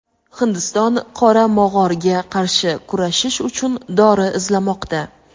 Hindiston "qora mog‘or"ga qarshi kurashish uchun dori izlamoqda.